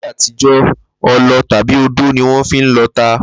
Láyé àtijó̩, o̩lo̩ tàbí odó ni wó̩n fi ń lo̩ ata